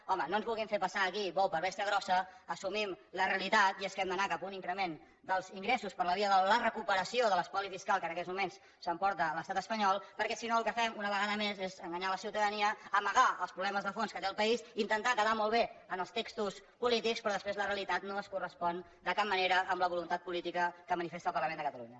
home no ens vulguin fer passar aquí bou per bèstia grossa assumim la realitat i és que hem d’anar cap a un increment dels ingressos per la via de la recuperació de l’espoli fiscal que en aquests moments s’emporta l’estat espanyol perquè si no el que fem una vegada més és enganyar la ciutadania amagar els problemes de fons que té el país intentar quedar molt bé en els textos polítics però després la realitat no es correspon de cap manera amb la voluntat política que manifesta el parlament de catalunya